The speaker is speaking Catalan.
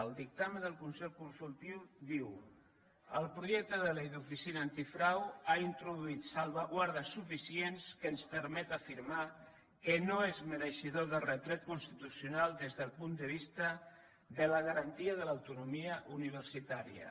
el dictamen del consell consultiu diu el projecte de llei de l’oficina antifrau ha introduït salvaguardes suficients que ens permet afirmar que no és mereixedor de retret constitucional des del punt de vista de la garantia de l’autonomia universitària